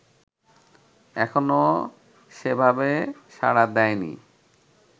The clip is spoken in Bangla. এখনও সেভাবে সাড়া দেয়নি